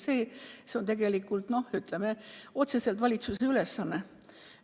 Ja see on otseselt valitsuse ülesanne.